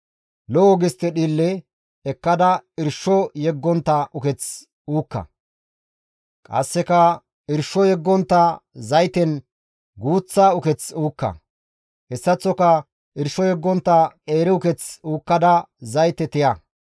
Lo7o gistte dhiille ekkada irsho yeggontta uketh uukka; qasseka irsho yeggontta zayten guuththa uketh uukka; hessaththoka irsho yeggontta qeeri uketh uukkada zayte tiya.